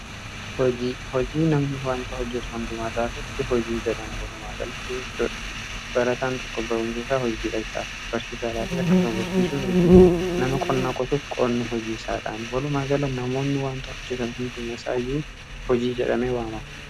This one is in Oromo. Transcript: hojii namni wantao hojjetu hundumaataa irratti hojii jedhama walumaa galatti barataan tokko barumseisaa hojiidha isaaf barsiisa laafiii akkasuma barsiisuun hojii nama qonnaa qotuuf qorne hojii isaadhaan walumaa gala namoonni wantaa hojjetan hundumaaisaa iyyuu hojii jedhame waamau